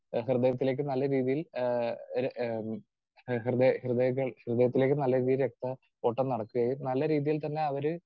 speaker 2 ഏഹ് ഹൃദയത്തിലേക്ക് നല്ല രീതിയിൽ ഏഹ് ഒരു ആഹ്‌ ഹൃദയ ഹൃദയ ഹൃദയത്തിലേക്ക് നല്ല രീതിയിൽ രക്തയോട്ടം നടക്കുകയും നല്ല രീതിയിൽ തന്നെ അവര്